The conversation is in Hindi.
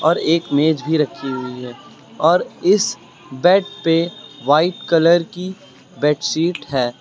और एक मेज भी रखी हुई है और इस बेड पे वाइट कलर की बेडशीट है।